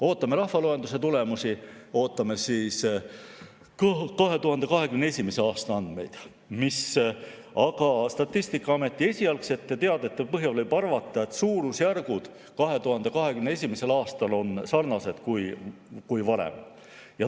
Ootame rahvaloenduse tulemusi, ootame 2021. aasta andmeid, aga Statistikaameti esialgsete teadete põhjal võib arvata, et suurusjärgud olid 2021. aastal sarnased varasematega.